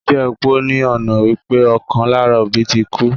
Jíjẹ́ opó ní ọ̀nà wípé ọ̀kan lára òbí ti kú